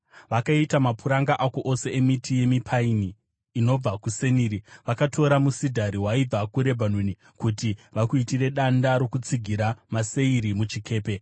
Vakaita mapuranga ako ose emiti yemipaini inobva kuSeniri; vakatora musidhari waibva kuRebhanoni, kuti vakuitire danda rokutsigira maseiri muchikepe.